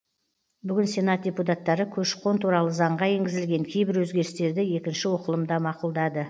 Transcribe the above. бүгін сенат депутаттары көші қон туралы заңға енгізілген кейбір өзгерістерді екінші оқылымда мақұлдады